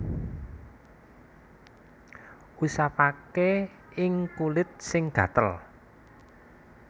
Usapaké ing kulit sing gatel